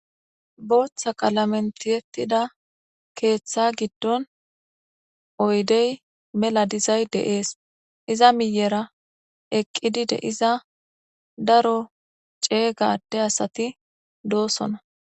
Booththa qalamentiyettida keeththa giddon oydey mela dizay deees iza miyera eqqidide iza daro ceeygade asati doosona.